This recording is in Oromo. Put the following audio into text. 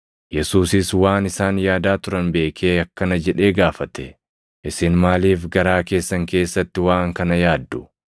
Yesuusis waan isaan yaadaa turan beekee akkana jedhee gaafate; “Isin maaliif garaa keessan keessatti waan kana yaaddu?